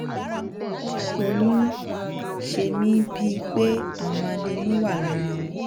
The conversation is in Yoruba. ó ń ṣe mí ń ṣe mí bíi pé àwọn adẹ́nú wà lára wọn